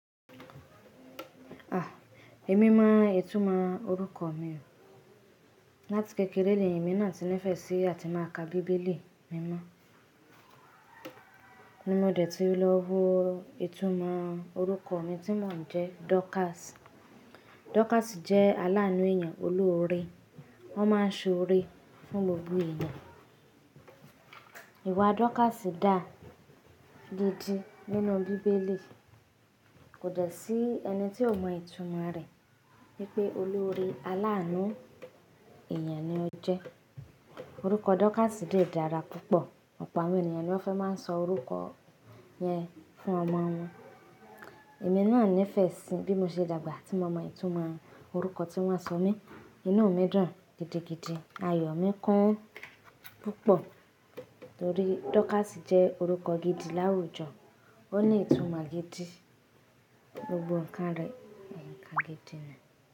Èmi mo ìtumọ̀ orúkọ mi. Látí kékeré lèmi náà tí nífẹ̀ sí àti máa ka bíbélì mímọ́ ní mo dẹ̀ tí lọ wo ìtumọ̀ orúkọ mi tí mò ń jẹ́ Dorcas. Dorcas jẹ́ aláànú èeyàn oloore wọ́n máa ń ṣọ́ore fún gbogbo èeyàn. Ìwà Dorcas dà gidi nínú bíbélì kò dẹ́ sí ẹni tí ò mọ ìtumọ̀ rẹ̀ wípé oloore aláànú èeyàn ni ọ jẹ́. Orúkọ Dorcas dé dára púpọ̀ opo àwọn ènìyàn ni wọ́n fẹ́ máa ń sọ orúkọ yẹn fún ọmọ wọn. Èmi náà nífẹ̀ẹ́ sí bí mo ṣe dàgbà tí mo mọ ìtumọ̀ orúkọ tí wọ́n sọ mí. Inú mi dùn gidigidi ayọ̀ mi kún púpọ̀ torí Dorcas jẹ́ orúkọ gidi láwùjọ o ni ìtumọ̀ gidi gbogbo ǹkan re nkan gidi.